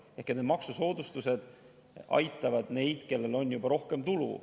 Ehk need maksusoodustused aitavad neid, kellel on rohkem tulu.